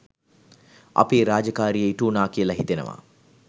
අපේ රාජකාරිය ඉටුවුණා කියල හිතෙනවා.